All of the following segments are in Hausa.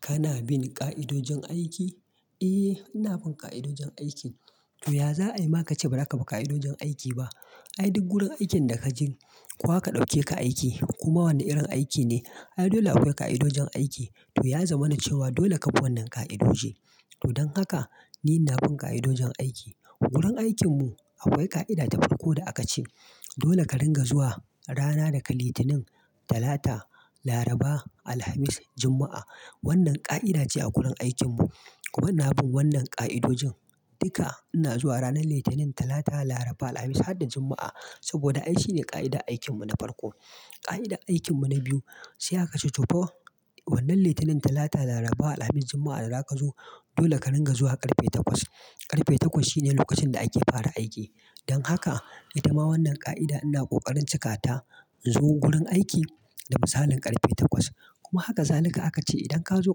Kana bin ƙa'idojin aiki? Eh, ina bin ƙa'idojin aikin. To ya za ayi ma kace ba zaka bi ƙa'idojin aiki ba? Ai duk wurin aikin da ka je, ko aka ɗauke ka aiki koma wane irin aiki ne, ai dole akwai ƙa'idojin aiki. To ya zama na cewa dole ka bi wannan ƙa'idoji. To don haka ni ina bin ƙa'idojin aiki. Wurin aikin mu akwai ƙa'ida ta farko da aka ce, dole ka ringa zuwa rana daga Litinin, Talata, Laraba, Alhamis, Juma'a. Wannan ƙa'ida ce a gurin aikin mu. Kuma ina bin wannan ƙa'idojin. Duka ina zuwa ranar Litinin, Talata, Laraba, Alhamis har da Juma'a. Saboda ai shine ƙa'ida aikin mu na farko. Ƙa'ida aikin mu na biyu, sai aka cen to fa wannan Litinin, Talata, Laraba, Alhamis, Juma'a da zaka zo, dole ka ringa zuwa ƙarfe takwas. Ƙarfe takwas shine lokacin da ake fara aiki. Don haka, itama wannan ƙa'ida ina ƙoƙarin cika ta in zo gurin aiki da misalin ƙarfe takwas. Kuma haka zalika aka ce idan ka zo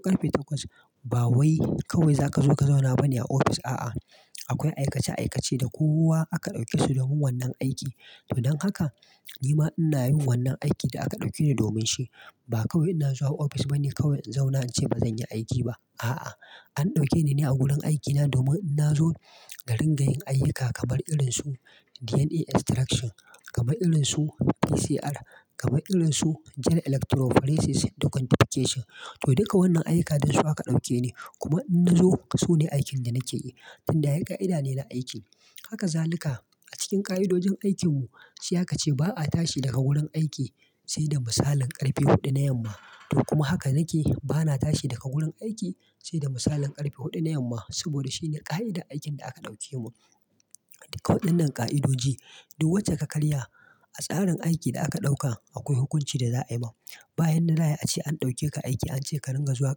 ƙarfe takwas, ba wai kawai zaka zo ka zauna bane a office, a'a. Akwai aikace aikace da kowa aka ɗauke su domin wannan aiki. To don haka, ni ma ina yin wannan aikin da aka ɗauke ni domin shi. Ba kawai ina zuwa office bane kawai in zauna in ce bazan yi aiki ba. A'a, an ɗauke ni ne a gurin aikina domin in zo ka ringa yin ayyuka kamar irin su DNA Extraction, kamar irin su PCR, kamar irin su Gel Electrophoresis, quantification. To duka wannan ayyuka dasu aka ɗauke ni. Kuma in na zo su ne aikin da nake yi. Tun da ai ƙa'ida ne na aiki. Haka zalika a cikin ƙa'idojin aikin mu, sai aka ce ba a tashi daga wurin aiki sai da misalin ƙarfe huɗu na yamma. To kuma haka nake, bana tashi daga gurin aiki sai da misalin ƙarfe huɗu na yamma. Saboda shi ne ƙa'ida aikin da aka ɗauke mu. Duka waɗannan ƙa'idoji, duk wacce ka karya a tsarin aiki da aka ɗauka akwai hukunci da za a yi ma. Bayan da za'ai ace an ɗauke ka aiki an ce ka ringa zuwa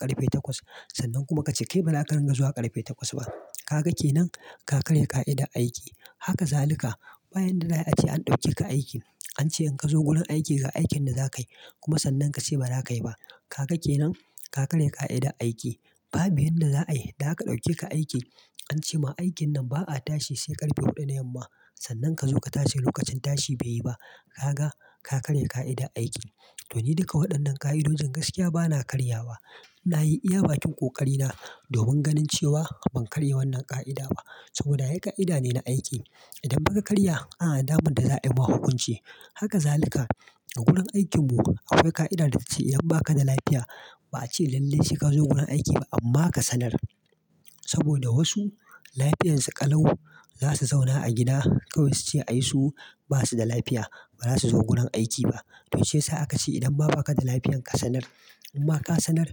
ƙarfe takwas, sannan kuma ka ce kai ba za ka ringa zuwa ƙarfe takwas ba. Ka ga ke nan, ka karya ƙa'ida aiki. Haka zalika bayan da za ayi ace an ɗauke ka aiki, an ce in ka zo gurin aiki ga aikin da za ka yi kuma sannan ka ce ba za ka yi ba. Ka ga ke nan, ka karya ƙa'ida aiki. Babu yadda za ai idan aka ɗauke ka aiki an ce ma aikin nan ba a tashi sai ƙarfe huɗu da yamma. Sannan ka zo ka tashi lokacin tashi bai yi ba. Ka ga, ka karya ƙa'ida aiki. To ni duka waɗannan ƙa'idojin gaskiya bana karya ba. Na yi iya bakin ƙoƙari na domin ganin cewa ban karya wannan ƙa'ida ba. Saboda ai ƙa'ida ne na aiki. Idan fa ka karya ana da dama da za a yi ma hukunci. Haka zalika a gurin aikin mu akwai ƙa'ida da ta ce idan ba ka da lafiya, ba a ce lallai sai ka zo gurin aiki ba amma ka sanar. Saboda wasu lafiyarsu ƙalau, za su zauna a gida kawai su ce ai su ba su da lafiya ba za su zo gurin aiki ba. To shi yasa aka ce idan ma ba ka da lafiya ka sanar. Imma ka sanar,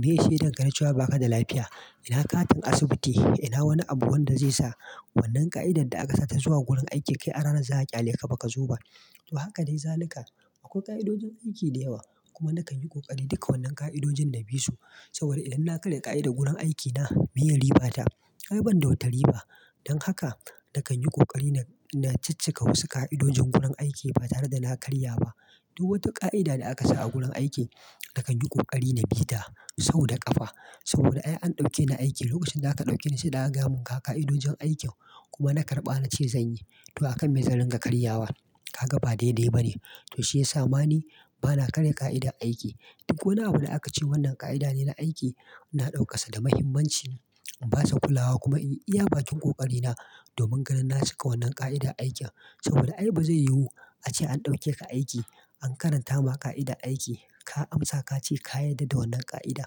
miye shaidar ka na cewa ba ka da lafiya. Ina katin asibiti, ina wani abu wanda zai sa wannan ƙa'idar da aka sa ta zuwa gurin aiki kai a ranar za a ƙyale ka baka zo ba. To haka dai zalika. Akwai ƙa'idojin aiki da yawa. Kuma nakan yi ƙoƙari duka wannan ƙa'idojin na bi su. Saboda idan na karya ƙa'ida gurin aikina, miye riba ta. Ai ban da wata riba. Don haka nakan yi ƙoƙari na ciccika wasu ƙa'idojin gurin aiki ba tare da na karya ba. Duk wata ƙa'ida da aka sa a gurin aiki nakan yi ƙoƙari na bi ta sau da ƙafa. Saboda ai an ɗauke ni aiki lokacin da aka ɗauke ni sai da aka gaya mun ga ƙa'idojin aikin kuma na karɓa na ce zan yi. To akan me zan ringa karya wa? Ka ga ba daidai ba ne. To shiyasa ma ni bana karya ƙa'idar aiki. Duk wani abu da aka ce wannan ƙa'ida ne na aiki, ina ɗaukar sa da muhimmanci. In basa kulawa kuma in yi iya bakin ƙoƙari na domin ganin na cika wannan ƙa'idar aikin. Saboda ai bazai yiwu ace an ɗauke ka aiki an karanta ma ƙa'ida aiki, ka amsa ka ce ka yarda da wannan ƙa'ida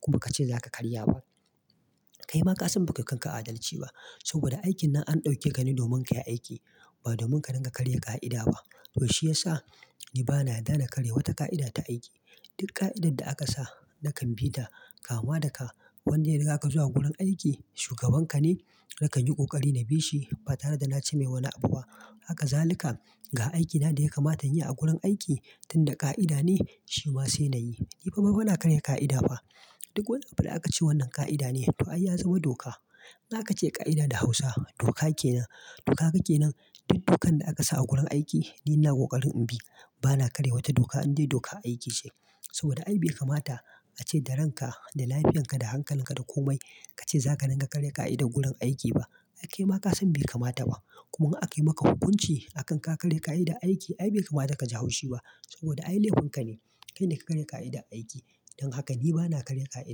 kuma baka ce za ka karya ba. Kai ma ka san ba kai wa kan ka adalce ba. Saboda aikin nan an ɗauke ka ne domin ka yi aiki ba domin ka ringa karya ƙa'ida ba. To shiyasa ni bana yadda da karya wata ƙa'ida ta aiki. Duk ƙa'idar da aka sa nakan bi ta kama da ka wanda ya riga ka zuwa gurin aiki shugaban ka ne, nakan yi ƙoƙari na bi shi ba tare da na ce mai wani abu ba. Haka zalika ga aikina da ya kamata inyi a gurin aiki tun da ƙa'ida ne, shi ma sai na yi. Ni fa bana karya ƙa'ida fa. Duk wani abu da aka ce wannan ƙa'ida ne to ai ya zama doka. In akace ƙa'ida da Hausa doka kenan. To kaga kenan. Duk dokan da aka sa a gurin aiki ni ina ƙoƙarin in bi. Bana karya wata doka indai doka aiki ce. Saboda ai bai kamata ace da ranka, da lafiyarka, da hankalin ka da komai ka ce za ka ringa karya ƙa'ida gurin aiki ba. Ai kai ma ka san bai kamata ba. Kuma in akai maka hukunci akan ka karya ƙa'ida aiki. Ai bai kamata ka ji haushi ba. Saboda ai laifin ka ne. Kai ne ka karya ƙa'ida aiki. Don haka ni bana karya ƙa'ida.